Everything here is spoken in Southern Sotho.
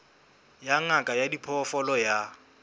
ya ngaka ya diphoofolo ya